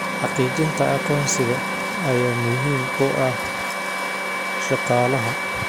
Xaqiijinta aqoonsiga ayaa muhiim u ah shaqaalaha.